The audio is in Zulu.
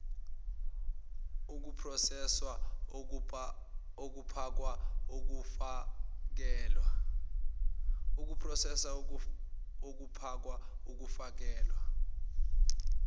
ukuproseswa ukupakwa ukufakelwa